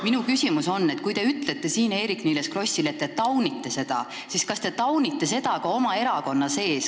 Minu küsimus on selline: te ütlesite siin Eerik-Niiles Krossile, et te taunite seda, aga kas te taunite seda ka oma erakonna sees?